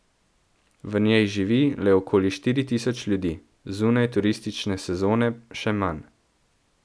V njej živi le okoli štiri tisoč ljudi, zunaj turistične sezone še manj.